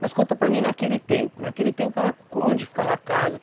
Mas conta para mim, naquele tempo, naquele tempo onde ficava a casa?